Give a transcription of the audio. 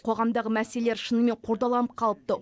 қоғамдағы мәселелер шынымен қордаланып қалыпты